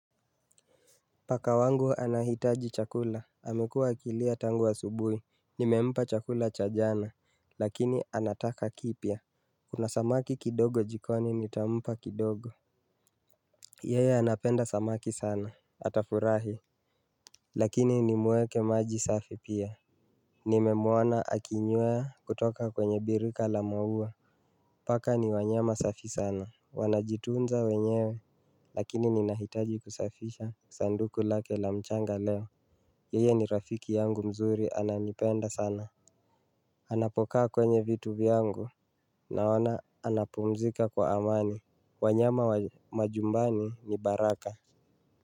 Paka wangu anahitaji chakula, amekuwa akilia tangu asubuhi Nimempa chakula cha jana, lakini anataka kipya Kunasamaki kidogo jikoni nitampa kidogo Yeye anapenda samaki sana, atafurahi Lakini nimweke maji safi pia Nimemwona akinywea kutoka kwenye birika la maua, paka ni wanyama safi sana Wanajitunza wenyewe, lakini ninahitaji kusafisha sanduku lake la mchanga leo Yeye ni rafiki yangu mzuri ananipenda sana Anapokaa kwenye vitu vyangu Naona anapumzika kwa amani wanyama wa majumbani ni baraka.